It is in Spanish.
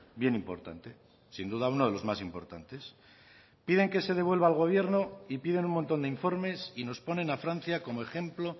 bien importante sin duda uno de los más importantes piden que se devuelva al gobierno y piden un montón de informes y nos ponen a francia como ejemplo